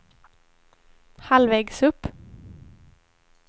halvvägs upp